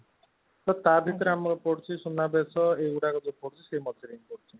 ତ ତା ଭିତରେ ଆମର ପଡୁଛି ସୁନା ବେସ ଇଏ ଗୁଡକ